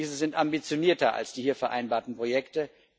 Diese sind ambitionierter als die hier vereinbarten Projekte.